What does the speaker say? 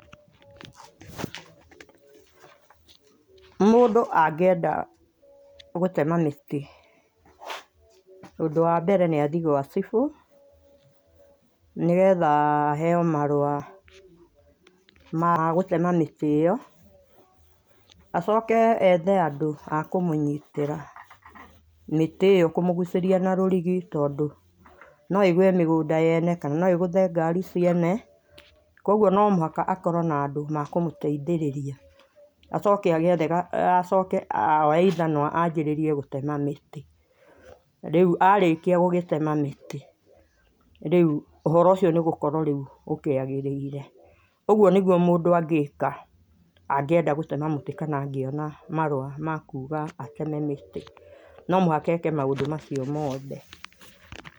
Mũndũ angĩenda gũtema mĩtĩ, ũndũ wambere nĩ athiĩ gwa cibũ nĩgetha aheo marũa ma gũtema mĩtĩ ĩyo acoke ethe andũ akũmũnyitĩra mĩtĩ ĩyo kũmũgũcĩria na rũrigi tondũ no ĩgwe migũnda yene kana noĩgũthe ngari ciene kũogũo no mũhaka akorwo na andũ makũmũteĩthĩrĩria acuoke oe ĩthanwa abĩrĩrie gũtema mĩtĩ arĩkia gũgĩtema mĩtĩ rĩũ ũhoro ũcio nĩgũkorwo rĩũ ũkĩagĩrĩire ũgũo nĩgũomũndũ angĩka angĩenda gũtema mũtĩ kana angĩona marũa makũga ateme mĩtĩ no mũhaka eke maũndũ macio mothe.